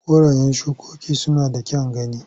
Korayen shikoki suna da kyan gani.